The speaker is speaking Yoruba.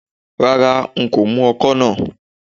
Rárá, n kò mú ọkọ́ náà